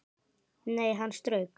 Nei, hann strauk